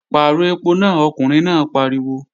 Pàrọ̀ ẹpo náà, ọkùnrin náà pariwo!